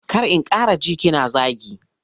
Kar in ƙara ji kina zagi.